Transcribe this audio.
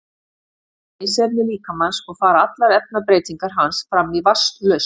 vatn er leysiefni líkamans og fara allar efnabreytingar hans fram í vatnslausn